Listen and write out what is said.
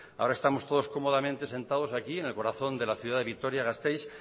ahora estamos todos cómodamente sentados aquí en el corazón de la ciudad de vitoria gasteiz